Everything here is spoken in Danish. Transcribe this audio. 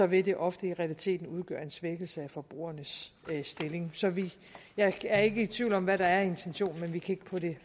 vil det ofte i realiteten udgøre en svækkelse af forbrugernes stilling så jeg er ikke i tvivl om hvad der er intentionen men vi kan ikke på det